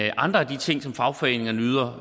i andre af de ting som fagforeningerne yder